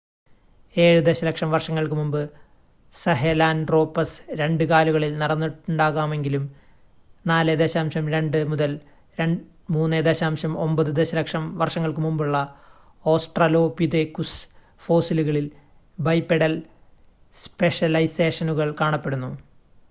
ഏഴ് ദശലക്ഷം വർഷങ്ങൾക്ക് മുമ്പ് സഹെലാൻട്രോപസ് രണ്ട് കാലുകളിൽ നടന്നിട്ടുണ്ടാകാമെങ്കിലും 4.2-3.9 ദശലക്ഷം വർഷങ്ങൾക്ക് മുമ്പുള്ള ഓസ്ട്രലോപിതെകുസ് ഫോസിലുകളിൽ ബൈപെഡൽ സ്പെഷലൈസേഷനുകൾ കാണപ്പെടുന്നു